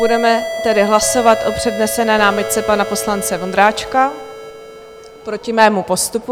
Budeme tedy hlasovat o přednesené námitce pana poslance Vondráčka proti mému postupu.